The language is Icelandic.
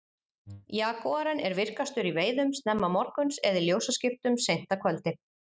Jagúarinn er virkastur í veiðum snemma morguns eða í ljósaskiptum seint að kvöldi.